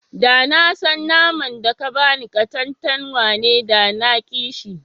Da na san naman da ka ba ni katantanwa ne, da na ƙi shi.